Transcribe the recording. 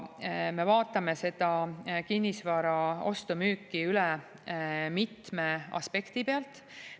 Me vaatame seda kinnisvara ostu-müüki üle mitmest aspektist.